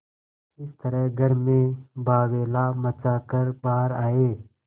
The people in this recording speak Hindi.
इस तरह घर में बावैला मचा कर बाहर आये